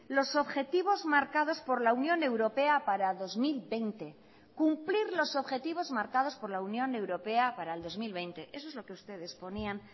los objetivos marcados por la unión europea para dos mil veinte cumplir los objetivos marcados por la unión europea para el dos mil veinte eso es lo que ustedes ponían